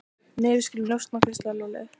Nei, við skulum njósna hvíslaði Lúlli.